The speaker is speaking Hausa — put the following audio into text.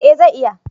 eh zai iya